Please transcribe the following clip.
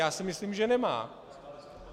Já si myslím, že nemá.